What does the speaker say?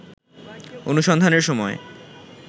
অনুসন্ধানের সময়